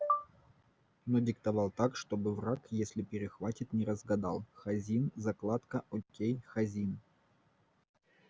но диктовал так чтобы враг если перехватит не разгадал хазин закладка окей хазин